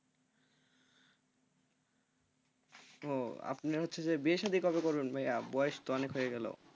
আপনি হচ্ছে বিয়ে শাদী কবে করবেন ভাইয়া? বয়স তো অনেক হয়ে গেলো